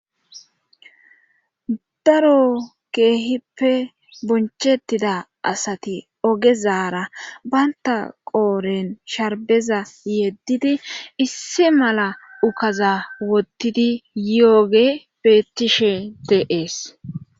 daro keehippe bonchettida asati ogezaara baynta qooren sharbeza yeddidi issi mala ukaza wottidi yooge betishe de'es